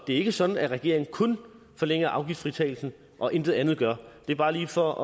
er ikke sådan at regeringen kun forlænger afgiftsfritagelsen og intet andet gør det er bare lige for